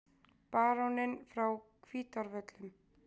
BARÓNINN FRÁ HVÍTÁRVÖLLUM